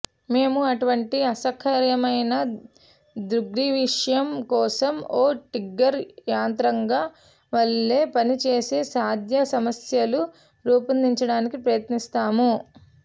మేము అటువంటి అసహ్యకరమైన దృగ్విషయం కోసం ఒక ట్రిగ్గర్ యంత్రాంగం వలె పనిచేసే సాధ్యం సమస్యలను రూపొందించడానికి ప్రయత్నిస్తాము